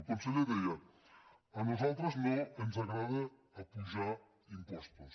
el conseller deia a nosaltres no ens agrada apujar impostos